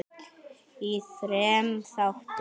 í þremur þáttum.